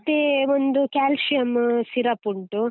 ಮತ್ತೇ ಒಂದು calcium syrup ಉಂಟು.